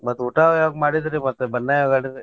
ಮತ್ತ್ ಊಟ ಯಾವಾಗ್ ಮಾಡಿದ್ರಿ, ಮತ್ತ್ ಬಣ್ಣ ಯಾವಾಗ್ ಆಡಿದ್ರಿ?